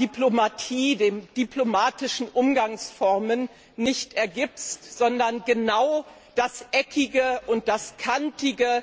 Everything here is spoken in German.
Diplomatie, den diplomatischen Umgangsformen nicht ergibst, sondern genau das Eckige und das Kantige,